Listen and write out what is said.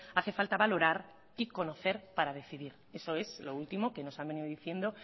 hace falta valorar y conocer para decidir eso es lo último que nos han venido diciendo